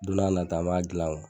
Don na na ta an b'a gilan.